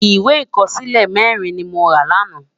Iwé ikòsilé mèrin ni mó rá làná